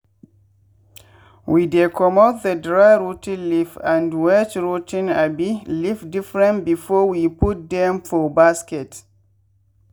we dey comot the dry rot ten leaf and wet rot ten abi leaf diifferent before we put dem for basket.